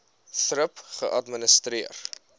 thrip geadministreer